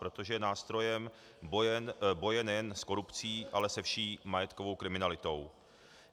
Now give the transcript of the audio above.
Protože je nástrojem boje nejen s korupcí, ale se vší majetkovou kriminalitou.